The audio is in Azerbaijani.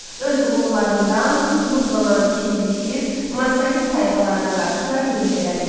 Öz uğurlarından ruhlanan ikinci Kir Massaget tayfalarına qarşı da yürüş elədi.